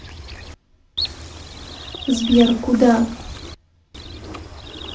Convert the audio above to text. сбер куда